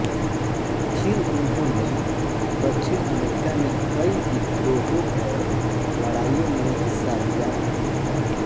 फिर उन्होंने दक्षिण अमेरिका में कई विद्रोहों और लड़ाइयों में हिस्सा लिया